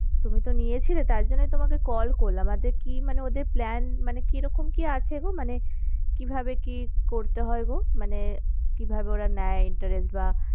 তুমি তো নিয়েছিলে তার জন্যেই তোমাকে call করলাম, কি মানে ওদের plan মানে কি রকম কি আছে গো, মানে কিভাবে কি করতে হয় গো? মানে কিভাবে ওরা নেয় interest বা,